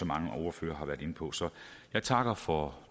mange af ordførerne har været inde på så jeg takker for